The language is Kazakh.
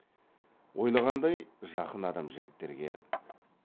ойлағандай жақын адам жігіттерге